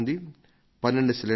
12 సిలిండర్లా